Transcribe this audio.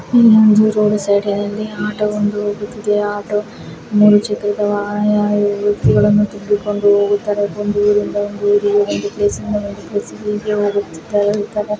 ಈ ಒಂದು road side ಅಲ್ಲಿ ಆಟೋ ವೊಂದು ನಿಂತಿದೆ ಆಟೋ ಮೂರೂ ಚಕ್ರವಾಹನ ವಾಗಿದೆ ಈ ರೀತಿ ತುಂಬಿಕೊಂಡು ಹೋಗುತ್ತದೆ ಒಂದು ಊರಿನಿಂದ ಇಂದ ಇನ್ನೊಂದು ಊರಿಗೆ ಒಂದು ಪ್ಲೇಸ್ ಯಿಂದ ಇಂದ ಇನ್ನೊಂದು ಪ್ಲೇಸ್ಗೆ